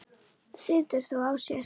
Situr þó á sér.